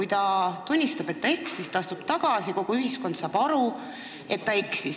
Ta tunnistab, et eksis, astub tagasi, kogu ühiskond saab aru, et ta eksis.